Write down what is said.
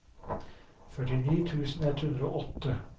førtini tusen ett hundre og åtte